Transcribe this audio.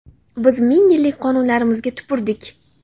biz ming yillik qonunlarimizga tupurdik.